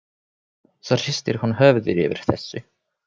Svo hristir hún höfuðið yfir þessu.